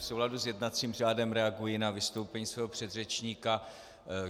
V souladu s jednacím řádem reaguji na vystoupení svého předřečníka.